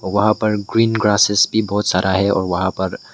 वहां पर green grasses भी बहुत सारा है और वहां पर--